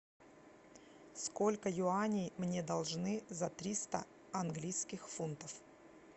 сколько юаней мне должны за триста английских фунтов